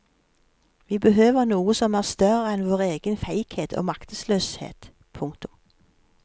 Vi behøver noe som er større enn vår egen feighet og maktesløshet. punktum